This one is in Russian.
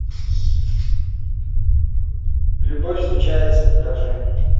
любовь случается покажи